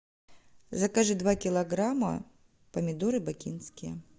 закажи два килограмма помидоры бакинские